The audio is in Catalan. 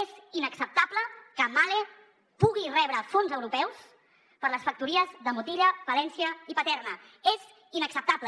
és inacceptable que mahle pugui rebre fons europeus per a les factories de motilla palència i paterna és inacceptable